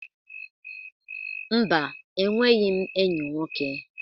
Mba, enweghi m enyi nwoke.